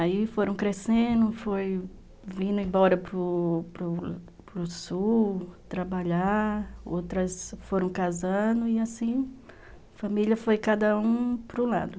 Aí foram crescendo, foi vindo embora para para o Sul, trabalhar, outras foram casando e assim, família foi cada um para o lado.